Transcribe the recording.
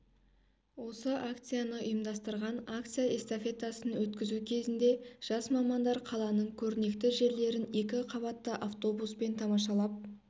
осы акцияны ұйымдастырған акция-эстафетасын өткізу кезінде жас мамандар қаланың көрнекті жерлерін екі қабатты автобуспен тамашалап